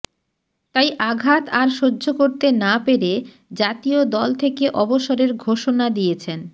তাই আঘাত আর সহ্য করতে না পেরে জাতীয় দল থেকে অবসরের ঘোষণা দিয়েছেন